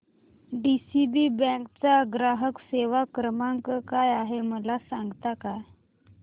DCB bank चा ग्राहक सेवा क्रमांक काय आहे मला सांगता का